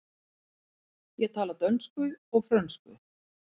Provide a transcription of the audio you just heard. Ég tala dönsku og frönsku.